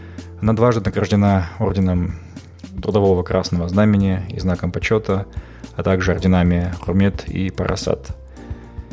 она дважды награждена орденом трудового красного знамени и знаком почета а также орденами құрмет и парасат